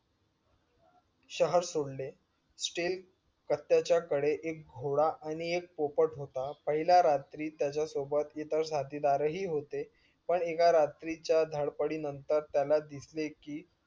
शहर सोडले स्टील पट्टयांच्या कडे एक घोडा आणि एक पोपट होता. पहिल्या रात्री त्याच्या सोबत इतर साथीदार हि होते पण एका रात्रीच्या धडपडीनंतर त्याला दिसले कि